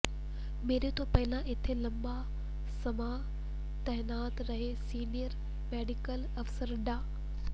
ਮੇਰੇ ਤੋਂ ਪਹਿਲਾਂ ਇੱਥੇ ਲੰਮਾ ਸਮਾਂ ਤਾਇਨਾਤ ਰਹੇ ਸੀਨੀਅਰ ਮੈਡੀਕਲ ਅਫ਼ਸਰ ਡਾ